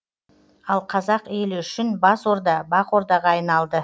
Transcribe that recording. ал қазақ елі үшін бас орда бақ ордаға айналды